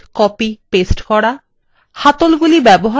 বস্তু cut copy paste করা